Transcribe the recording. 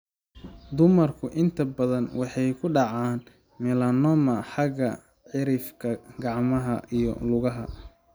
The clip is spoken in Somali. Dumarku inta badan waxay ku dhacaan melanoma xagga cirifka (gacmaha iyo lugaha).